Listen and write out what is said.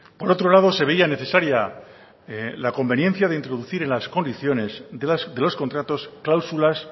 por otro lado se veía necesaria la conveniencia de introducir en las condiciones de los contratos cláusulas